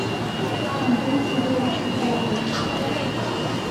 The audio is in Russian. антону игоревичу гарипову